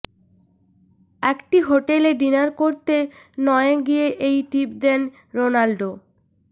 একটি হোটেলে ডিনার করতে নয়ে গিয়ে এই টিপ দেন রোনাল্ডো